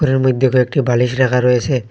ঘরের মধ্যে কয়েকটি বালিশ রাখা রয়েছে।